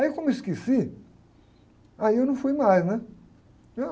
Aí como eu esqueci, aí eu não fui mais, né?